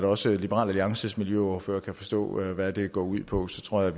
også liberal alliances miljøordfører kan forstå hvad det går ud på så tror jeg